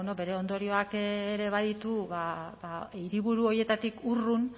bere ondorioak ere baditu hiriburu horietatik urrun